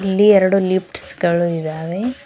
ಇಲ್ಲಿ ಎರಡು ಲಿಪ್ಸ್ ಗಳು ಇದಾವೆ.